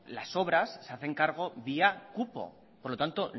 las obras se hacen cargo vía cupo por lo tanto